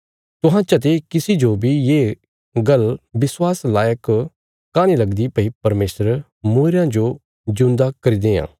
तुहां चते किसी जो बी ये गल्ल विश्वास लायक काँह नीं लगदी भई परमेशर मूईरयां जो जिऊंदा करी देआं